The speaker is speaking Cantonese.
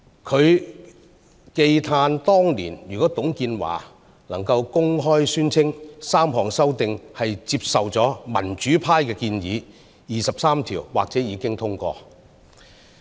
他慨歎當年若董建華能公開宣稱 ，3 項修訂是接受了民主派建議，二十三條或已經通過。